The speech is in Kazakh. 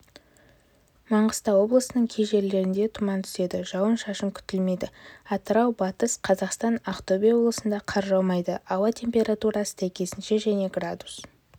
маңғыстау облысының кей жерлерінде тұман түседі жауын шашын күтілмейді атырау батыс қзақастан ақтөбе облысында қар жаумайды ауа температурасы сәйкесінше және градус